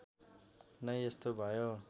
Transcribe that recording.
नै यस्तो भयो